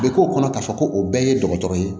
U bɛ k'o kɔnɔ k'a fɔ ko o bɛɛ ye dɔgɔtɔrɔ ye